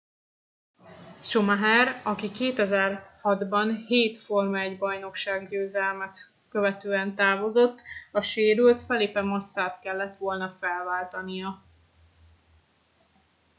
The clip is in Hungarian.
schumacher aki 2006 ban hét forma-1 bajnokság győzelmet követően távozott a sérült felipe massa t kellett volna felváltania